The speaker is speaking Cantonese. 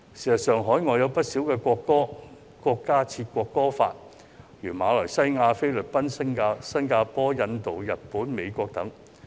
事實上，海外有不少國家均制定國歌法，例如馬來西亞、菲律賓、新加坡、印度、日本、美國等。